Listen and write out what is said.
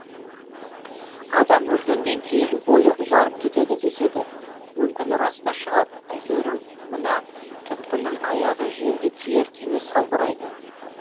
адам өлгеннен кейін бойы ұзарып кетеді деседі мүмкін рас та шығар әйтеуір мына тұтқынның аяғы жерге тиер тимес салбырайды